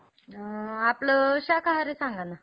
अ आपलं शाकाहारी सांगा ना?